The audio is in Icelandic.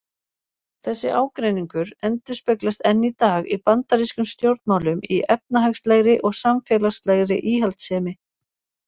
Þessi ágreiningur endurspeglast enn í dag í bandarískum stjórnmálum í efnahagslegri og samfélagslegri íhaldssemi.